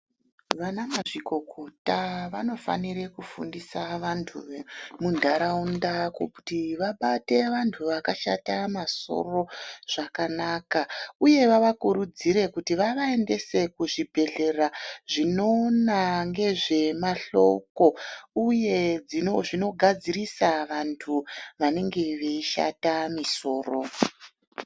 Vana mazvikokota vanofanire kufundisa vantu vemu ndaraunda kutii vabate vantu vakashata masoro zvakanaka uyee vavakurudzire kuti vavaendese kuzvibhedhlera zvinoona ngezvemahloko uye zvino dzinogadzirisa vantu vanenge veishata misoro.